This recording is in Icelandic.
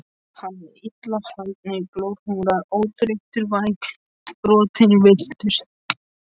Hann er illa haldinn, glorhungraður, örþreyttur, vængbrotinn, villtur.